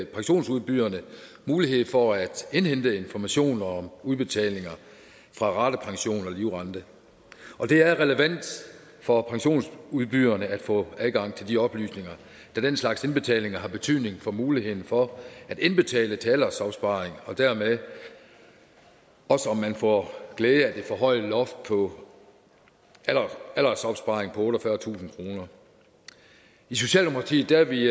pensionsudbyderne mulighed for at indhente information om udbetalinger fra ratepension og livrente og det er relevant for pensionsudbyderne at få adgang til de oplysninger da den slags udbetalinger har betydning for muligheden for at indbetale til aldersopsparing og dermed også om man får glæde af det forhøjede loft på aldersopsparing på otteogfyrretusind kroner i socialdemokratiet er vi